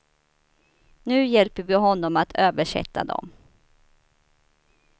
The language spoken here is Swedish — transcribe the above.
Nu hjälper vi honom att översätta dem.